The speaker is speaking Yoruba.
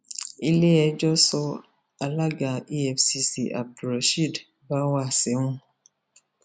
iléẹjọ sọ alága efcc abdulrasheed báwá sẹwọn